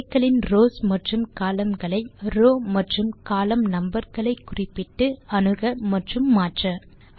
array களின் rows மற்றும் column களை ரோவ் மற்றும் கோலம்ன் நம்பர் களை குறிப்பிட்டு அணுக மற்றும் மாற்ற 4